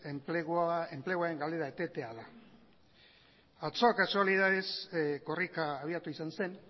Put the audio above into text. enpleguaren galera etetea da atzo kasualidadez korrika abiatu izan zen